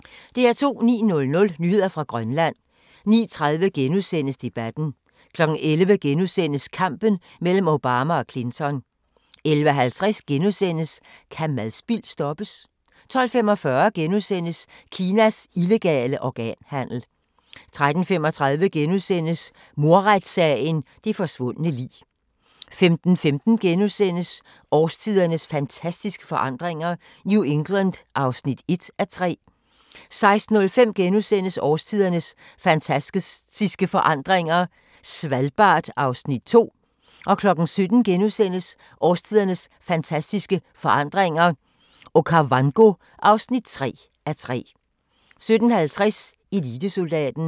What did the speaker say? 09:00: Nyheder fra Grønland 09:30: Debatten * 11:00: Kampen mellem Obama og Clinton * 11:50: Kan madspild stoppes? * 12:45: Kinas illegale organhandel * 13:35: Mordretssagen – det forsvundne lig * 15:15: Årstidernes fantastiske forandringer - New England (1:3)* 16:05: Årstidernes fantastiske forandringer – Svalbard (2:3)* 17:00: Årstidernes fantastiske forandringer – Okavango (3:3)* 17:50: Elitesoldaten